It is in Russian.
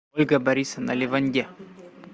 ольга борисовна леванде